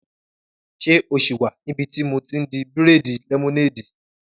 Ṣé o sì wà níbi tí mo ti n di bírèèdì lẹ́mọ́néèdì?